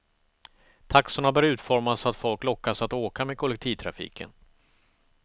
Taxorna bör utformas så att folk lockas att åka med kollektivtrafiken.